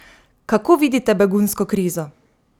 Kako vidite begunsko krizo?